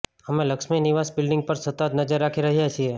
અમે લક્ષ્મી નિવાસ બિલ્ડિંગ પર સતત નજર રાખી રહ્યા છીએ